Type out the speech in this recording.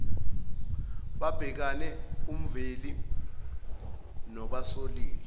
babhekane umveli nobasolile